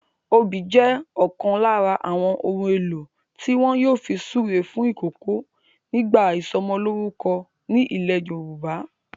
Obì jẹ́ ọ̀kan lára àwọn ohun-èlò tí wọ́n yóò fun súre fún ìkòkò nígbà ìsọmọlórúkọ ni ilẹ̀ Yorùbá.